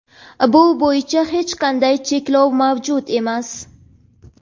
bu bo‘yicha hech qanday cheklov mavjud emas.